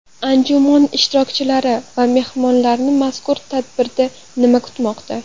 Anjuman ishtirokchilari va mehmonlarni mazkur tadbirda nima kutmoqda?